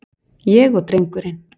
Ég og drengurinn.